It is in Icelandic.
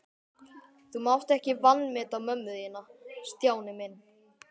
Þú mátt ekki vanmeta mömmu þína, Stjáni minn.